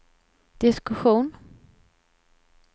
diskussion